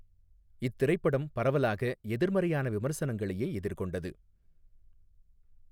இத்திரைப்படம் பரவலாகஎதிர்மறையான விமர்சங்களையே எதிர்கொண்டது.